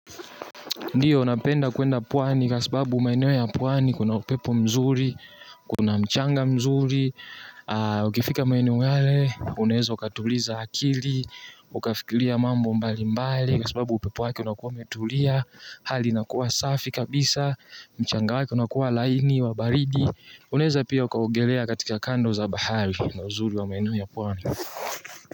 Ndio napenda kuenda pwani kwa sababu maeneo ya pwani kuna upepo mzuri, kuna mchanga mzuri, ukifika maeneo yale, unaweza ukatuliza akili, ukafikilia mambo mbali mbali kwa sababu upepo wake unakuwa umetulia, hali inakuwa safi kabisa, mchanga wake unakuwa laini wa baridi, unaeza pia ukaogelea katika kando za bahari ndio uzuri wa maenio ya puwani.